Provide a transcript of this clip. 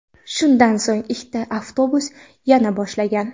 Shundan so‘ng ikkita avtobus yona boshlagan.